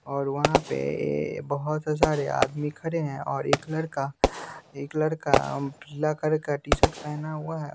और वहाँ पे ए बहुत सारे आदमी खरे हैं और एक लड़का एक लड़का ब्लकर का टी-शर्ट पहना हुआ है।